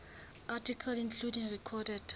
articles including recorded